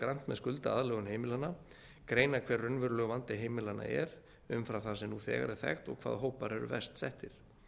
með skuldaaðlögun heimilanna greina hver raunverulegur vandi heimilanna er um fram það sem nú þegar er þekkt og hvaða hópar eru verst settir